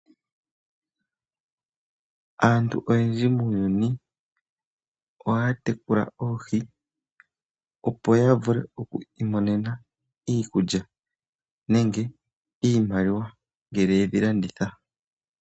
Aantu oyendji muuyuni oya tekula oohi, opo ya vule oku imonena iikulya nenge iimaliwa ngele yedhi landitha.